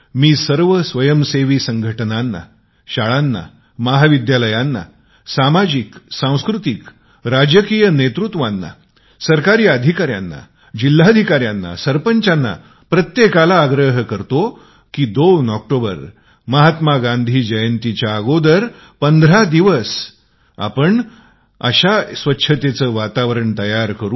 मी सर्व NGOsनां शाळांना कॉलेजांना सामाजिक सांस्कृतिक राजनैतिक नेतृत्वांना सरकारी अधिकाऱ्यांना कलेक्टरांना सरपंचांना प्रत्येकाला आग्रह करतो की 2 ऑक्टोबर महात्मा गांधी जयंतीच्या अगोदर 15 दिवस आपण एक अश्या स्वच्छतेचे वातावरण बनऊ